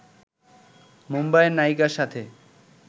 মুম্বাইয়ের নায়িকার সাথে